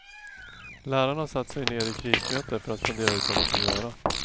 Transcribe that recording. Lärarna har satt sig ned i krismöten för att fundera ut vad man kan göra.